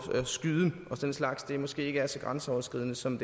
skyde og den slags måske ikke er så grænseoverskridende som